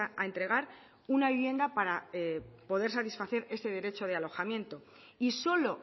a entregar una vivienda para poder satisfacer ese derecho de alojamiento y solo